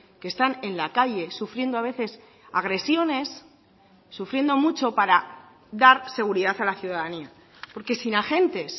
que están en la calle sufriendo a veces agresiones sufriendo mucho para dar seguridad a la ciudadanía porque sin agentes